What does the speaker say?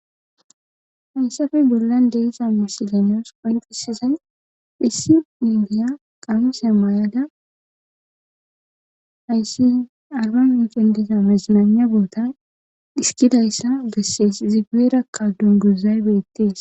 Hayssafe bollan deeza misilenyos qanqisizay phissi indiya qamuse maay'ada hayssi arban inqendeza mezinana boota dhiskidayssa gessees ziueera kadun guzaybeettees.